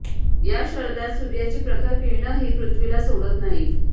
या शरदात सूर्याची प्रखर किरणंही पृथ्वीला सोडत नाहीत